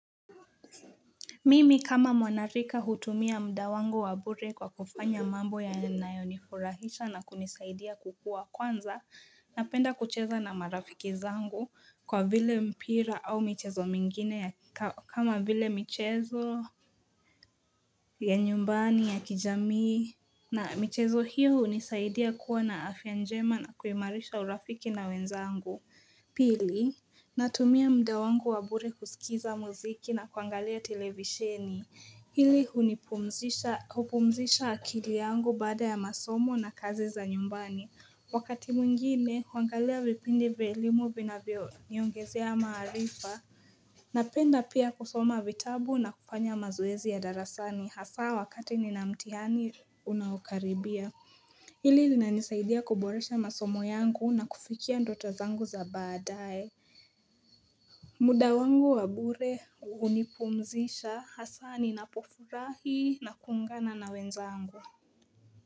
Mimi kama mwanarika hutumia muda wangu wa bure kwa kufanya mambo yanayo nifurahisha na kunisaidia kukua kwanza napenda kucheza na marafiki zangu kwa vile mpira au michezo mingine kama vile michezo ya nyumbani ya kijamii na michezo hiyo hunisaidia kuwa na afya njema na kuimairisha urafiki na wenzangu Pili, natumia muda wangu wa bure kusikiza muziki na kuangalia televisheni. Hili hunipumzisha akili yangu baada ya masomo na kazi za nyumbani. Wakati mwingine, huangalia vipindi vya elimu vinavyo niongezea maarifa. Napenda pia kusoma vitabu na kufanya mazoezi ya darasani hasa wakati nina mtihani unaokaribia. Hili linanisaidia kuboresha masomo yangu na kufikia ndoto zangu za baadae muda wangu wa bure hunipumzisha hasa ninapofurahi na kuungana na wenzangu.